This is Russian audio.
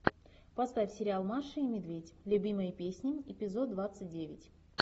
поставь сериал маша и медведь любимые песни эпизод двадцать девять